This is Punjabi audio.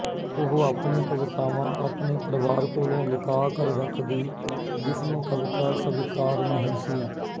ਉਹ ਆਪਣੀ ਕਵਿਤਾਵਾਂ ਆਪਣੇ ਪਰਵਾਰ ਕੋਲੋਂ ਲੁੱਕਾ ਕਰ ਰੱਖਦੀ ਜਿਸਨੂੰ ਕਵਿਤਾ ਸਵੀਕਾਰ ਨਹੀਂ ਸੀ